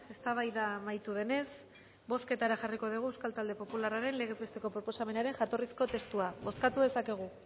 eztabaida amaitu denez bozketara jarriko dugu euskal talde popularraren legez besteko proposamenaren jatorrizko testua bozkatu dezakegu